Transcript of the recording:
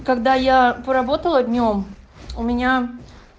когда я поработала днём у меня